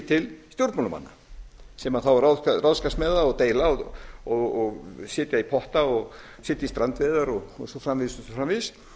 til stjórnmálamanna sem þá ráðskast með það og deila og setja í potta og setja í strandveiðar og svo framvegis og svo framvegis